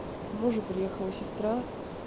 к мужу приехала сестра с